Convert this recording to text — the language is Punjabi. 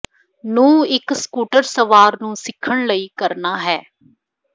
ਨੂੰ ਇੱਕ ਸਕੂਟਰ ਸਵਾਰ ਨੂੰ ਸਿੱਖਣ ਲਈ ਕਰਨਾ ਹੈ